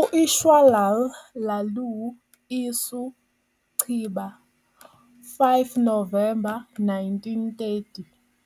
U-Ishwarlal Laloo "Isu" Chiba, 5 Novemba 1930